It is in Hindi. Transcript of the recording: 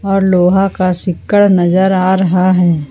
और लोहा का शीक्कर नजर आ रहा है।